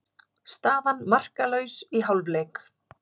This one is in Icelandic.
Staðan markalaus í hálfleik.